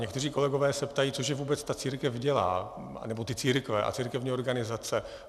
Někteří kolegové se ptají, co že vůbec ta církev dělá, nebo církve a církevní organizace.